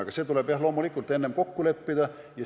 Aga see tuleb loomulikult enne kokku leppida.